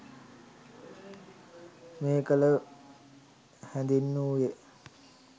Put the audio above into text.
මෙය එකල හැඳින්වූයේ